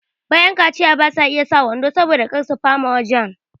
bayan kaciya basa iya sa wando saboda kar su fama wajan